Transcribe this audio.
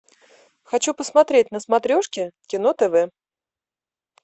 хочу посмотреть на смотрешке кино тв